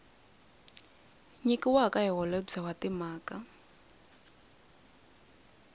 nyikiwaka hi holobye wa timhaka